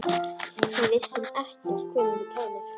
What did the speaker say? Við vissum ekkert hvenær þú kæmir.